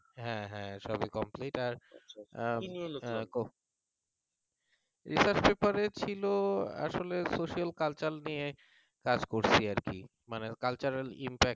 হ্যাঁ হ্যাঁ সবই complete আর research paper ছিল আসলে social culture নিয়ে কাজ করছি মানে cultural impact